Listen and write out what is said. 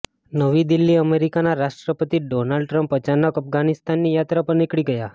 નવી દિલ્હીઃ અમેરિકાના રાષ્ટ્રપતિ ડોનાલ્ડ ટ્રમ્પ અચાનક અફઘાનિસ્તાનની યાત્રા પર નિકળી ગયા